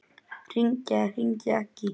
Hringja eða hringja ekki?